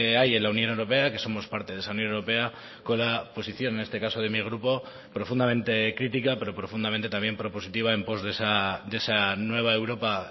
hay en la unión europea que somos parte de esa unión europea con la posición en este caso de mi grupo profundamente crítica pero profundamente también propositiva en pos de esa nueva europa